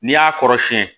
N'i y'a kɔrɔsiyɛn